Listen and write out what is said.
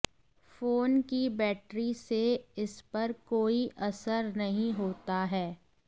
phone की battery से इसपर कोई असर नहीं होता है